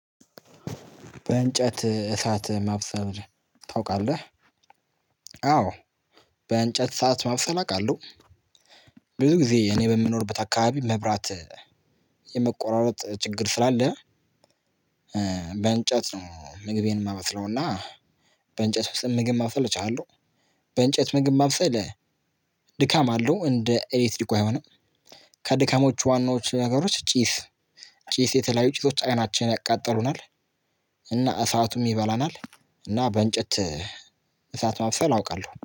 በእንጨት እሳት ማብሰል ታውቃለህ? አዎ በእንጨት እሳት ማብሰል አውቃለው። ብዙ ጊዜ እኔ በምኖርበት አካባቢ መብራት የመቆራረጥ ችግር ስላለ በእንጨት ነው ምግቤን ማበስለውና፤ በእንጨት ምግብ ማብሰል እችላለሁ በእንጨት ምግብ ማብሰል ድካም አለው እንደ ኤሌክትሪኩ አይሆንም፤ ከድከሞቹ ዋናዎቹ ነገሮች ጪስ ጪስ የተለያዩ ጭሶች አይናችንን ያቃጥሉናል እና እሳቱም ይበላናል እና በእንጨት እሳት ማብሰል አውቃለሁ